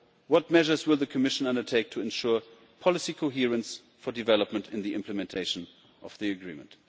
What measures will the Commission undertake to ensure policy coherence for development in the implementation of the Agreement?